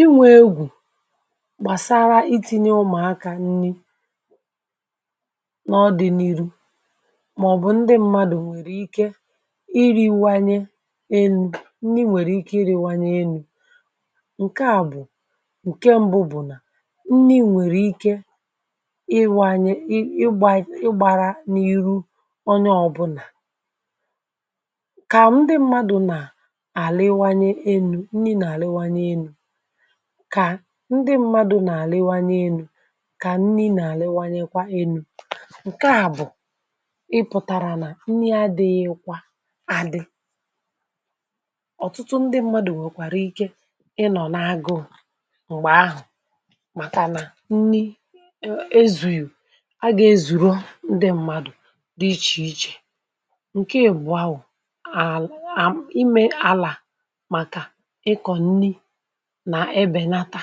inwė egwù gbàsara iti̇nye ụmụ̀akȧ nni na ọdị̇ n’iru màọbụ̀ ndị m̀madụ̀ nwèrè ike iri̇wȧnye enu̇ nni nwèrè ike iri̇wȧnye enu̇ ǹke à bụ̀ ǹke mbụ bụ̀ nà nni nwèrè ike ịwȧnye ịgbȧrȧ n’iru onye ọ̇bụ̇nà kà ndị m̀madụ̀ nà àlịwȧnye enu̇ nni nà àlịwȧnye enu̇ kà ndị m̀madụ̀ nà àlịwȧnye enu̇ ka nni nà àlịwȧnyekwa enu̇ nke a bu pụtara na nni adịghịkwa adị ọ̀tụtụ ndị mmadụ nwekwara ike ị nọ̀ n'agụ̀ụ̀ m̀gbè ahụ̀ màkà nà nni ezu̇yù a gà ezùru ndị mmadụ̀ dị ichè ichè ǹkè ị̀bụ̀a bu ime àlà màkà ịkọ̀ nni na ebenata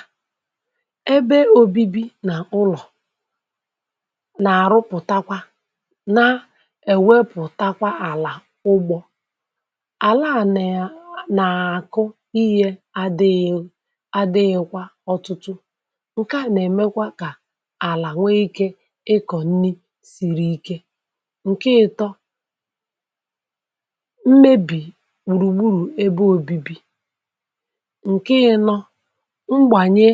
ebe òbibi nà ụlọ̀ nà-àrụpụ̀takwa na-èwepụ̀takwa àlà ụgbọ̇ àla à nà-àkụ ihė adị̇ghị̇ adịghị̇kwa ọ̇tụtụ ǹke nà-èmekwa kà àlà nwee ikė ịkọ̀ nni sìrì ike ǹke ị̀tọ mmebì gbùrùgburù ebe òbibi nke ịnọ̀, mgbanye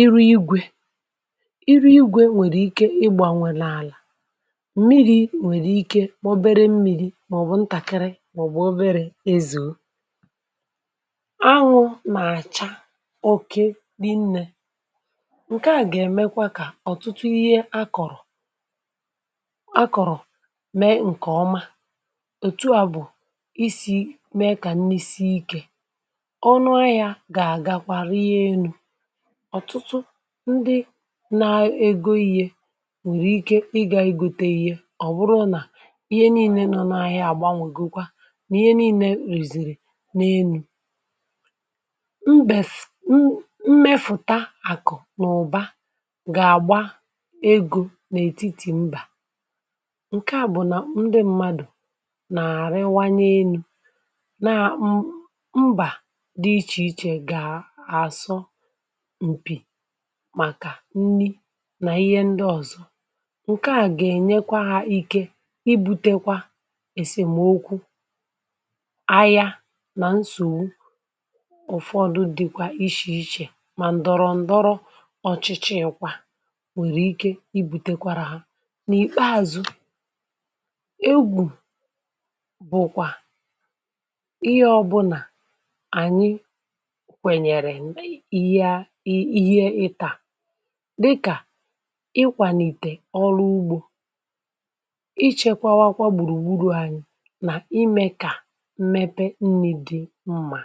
ịrụ igwė ịrụ igwė nwèrè ike ịgbȧnwè n'àlà mmiri̇ nwèrè ike nwobere mmiri̇ màọ̀bụ̀ ntàkịrị màọ̀bụ̀ obere ezù anwụ̇ n’àcha oke rinnė ǹke a gà-èmekwa kà ọ̀tụtụ ihe akọ̀rọ̀ akọ̀rọ̀ mee ǹkè ọma ètù a bụ̀ isi̇ mee kà nni sii ike ọ̀nụ ahia ga agakwa rie enu ọ̀tụtụ ndị na-ego ihe nwèrè ike ịgȧ i gote ihe, ọ̀ bụrụ nà ihe niilė nọ n’ahịa àgbanwègokwa nà ihe niilė rèzìrì n’enu̇ mbèf m mefụ̀ta àkụ̀ nà ụ̀ba gà-àgba egȯ n’ètitì mbà ǹke à bụ̀ nà ndị m̀madụ̀ nà-àrịwanye enu̇ mba di iche iche ga asọ̀ m̀pì màkà nni nà ihe ndị ọ̀zọ ǹke à gà-ènyekwa ha ike ibutekwa èsèmokwu, ahịa nà nsògbu ụ̀fọdụ dịkwa ichè ichè mà ǹdọ̀rọ̀ndọrọ ọ̀chị̀chị̀ kwa nwèrè ike ibute kwara ha nà ìkpeàzụ egwù bụ̀kwà ihe ọbụnà ànyị kwenyere ihe ịtà dịkà ịkwàlìtè ọrụ ugbȯ ịchėkwawakwa gbùrùgburù anyị nà imė kà mmepe nni̇ dị mmà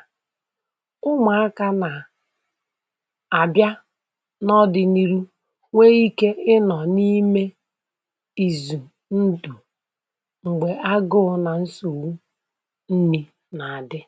umùakȧ nà àbịa n’ọdị̇ni̇ru̇ nwee ikė ịnọ̀ n’ime ìzù ndù m̀gbè agụụ nà nsògbu nnì nà-àdị.